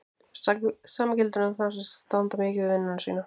Það sama gildir um þá sem standa mikið við vinnu sína.